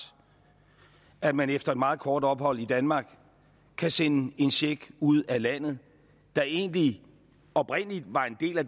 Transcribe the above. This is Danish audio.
at man efter et meget kort ophold i danmark kan sende en check ud af landet der egentlig oprindelig var en del af